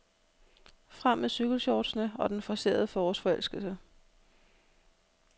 Frem med cykelshortsene og den forcerede forårsforelskelse.